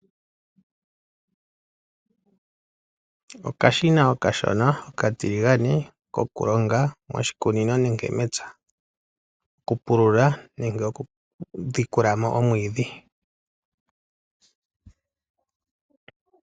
Okashina okashona okatiligane, kokulonga moshikunino nenge mepya. Kokupulula nenge okuhedha po omwiidhi.